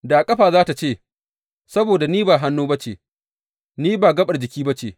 Da ƙafa za tă ce, Saboda ni ba hannu ba ce, ni ba gaɓar jiki ba ce.